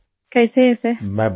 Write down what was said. نمستے sir ! کیسے ہیں sir?